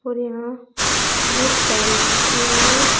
और यहां एक टेल बिछी हुई है।